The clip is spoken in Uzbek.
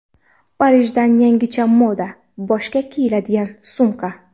Parijdan yangicha moda: boshga kiyiladigan sumka .